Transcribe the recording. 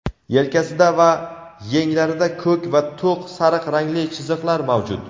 yelkasida va yenglarida ko‘k va to‘q sariq rangli chiziqlar mavjud.